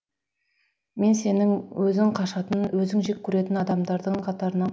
мен сенің өзің қашатын өзің жек көретін адамдардың қатарына